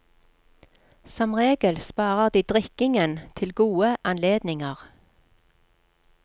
Som regel sparer de drikkingen til gode anledninger.